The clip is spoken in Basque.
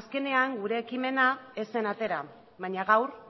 azkenean gure ekimena ez zen atera baina gaur